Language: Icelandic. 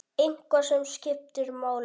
Eitthvað sem skiptir máli?